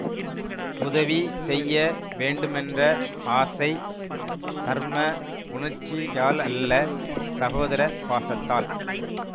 உதவி செய்ய வேண்டுமென்ற ஆசை தர்ம உணர்ச்சியாலல்ல சகோதர பாசத்தால்